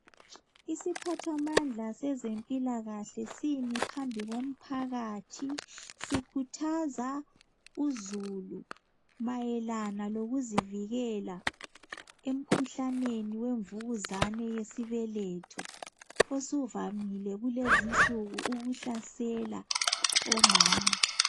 Isiphathamandla sezempilakahle simi phambi komphakathi sikhuthaza uzulu mayelana lokuzivikela emikhuhlaneni wemvukuzane yesibeletho osuvamile kulezinsuku ukuhlasela omama.